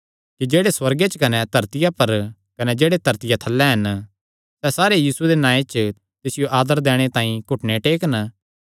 कि जेह्ड़े सुअर्ग च कने धरतिया पर कने जेह्ड़े धरतिया थल्लै हन सैह़ सारे यीशुये दे नांऐ च तिसियो आदर दैणे तांई घुटने टेकन